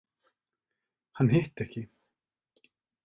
Hann hitti ekki.